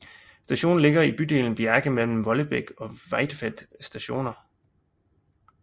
Stationen ligger i bydelen Bjerke mellem Vollebekk og Veitvet Stationer